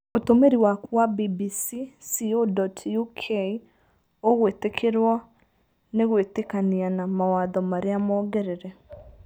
Ũtũmĩri waku wa bbc.co.uk ũgwĩtĩkĩrũo nĩgwĩtĩkania na mawatho marĩa mongerere